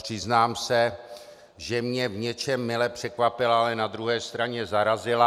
Přiznám se, že mě v něčem mile překvapila, ale na druhé straně zarazila.